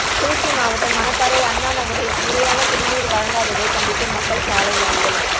திருச்சி மாவட்டம் மணப்பாறை அண்ணாநகரில் முறையான குடிநீர் வழங்காததை கண்டித்து மக்கள் சாலை மறியல்